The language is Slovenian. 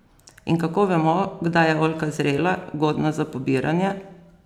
In kako vemo, kdaj je oljka zrela, godna za pobiranje?